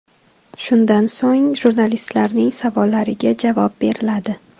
Shundan so‘ng, jurnalistlarning savollariga javob beriladi.